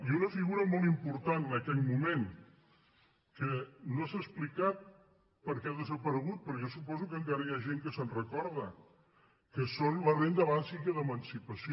i una figura molt important en aquell moment que no s’ha explicat perquè ha desaparegut però jo suposo que encara hi ha gent que se’n recorda que és la renda bàsica d’emancipació